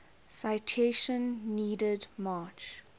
citation needed march